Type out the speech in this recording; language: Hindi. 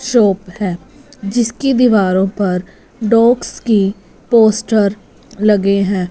शॉप हैं जिसकी दीवारों पर डॉग्स की पोस्टर लगे हैं।